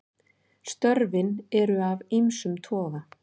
Störfin eru af ýmsum toga.